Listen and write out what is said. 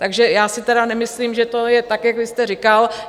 Takže já si tedy nemyslím, že to je tak, jak vy jste říkal.